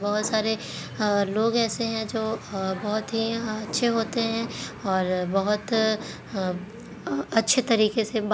बहुत सारे अअअअ लोग एसे है इसे है जो बहुत ही अ-अच्छे होते है और बहुत अ-- अच्छे तरीके से बात--